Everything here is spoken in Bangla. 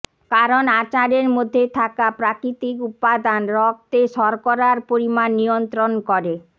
কারণ আচারের মধ্যে থাকা প্রাকৃতিক উপাদান রক্তে শর্করার পরিমাণ নিয়ন্ত্রণ করে